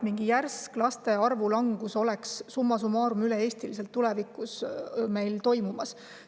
Me ei näe, et meil tulevikus toimuks üle-eestiliselt mingi järsk laste arvu langus.